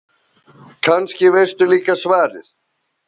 Kannski veistu líka svarið.